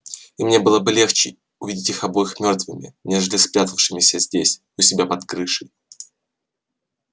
и мне было бы легче увидеть их обоих мёртвыми нежели спрятавшимися здесь у себя под крышей